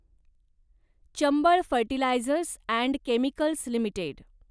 Chambal fertilisers and chemicals limited